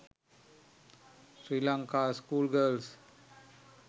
sri lanka school girls